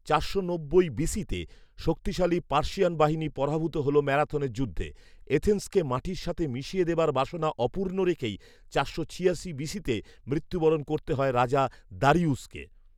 চারশো নব্বই বিসি’তে শক্তিশালী পার্সিয়ান বাহিনী পরাভূত হল ম্যারাথনের যুদ্ধে। এথেন্সকে মাটির সাথে মিশিয়ে দেবার বাসনা অপূর্ণ রেখেই চারশো ছিয়াশি বিসি’তে মৃত্যুবরণ করতে হয় রাজা দারিয়ুসকে